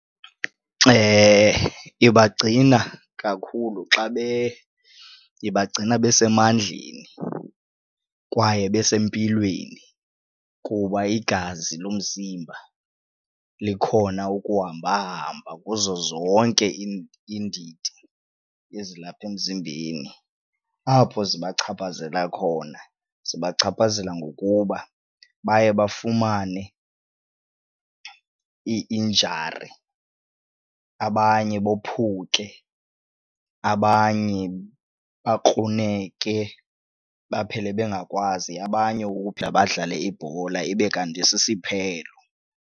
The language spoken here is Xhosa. ibagcina kakhulu ibagcina besemandleni kwaye besempilweni kuba igazi lomzimba likhona ukuhamba hamba kuzo zonke iindidi ezilapha emzimbeni. Apho zibachaphazela khona zibachaphazela ngokuba baye bafumane ii-injury abanye bophuke abanye bakruneke baphele bengakwazi abanye badlale ibhola ibe kanti sisiphelo.